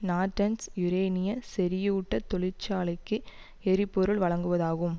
Norton's யூரேனிய செறியூட்டத் தொழிற்சாலைக்கு எரிபொருள் வழங்குவதாகும்